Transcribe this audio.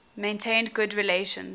maintained good relations